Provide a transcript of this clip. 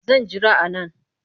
Zan jira a nan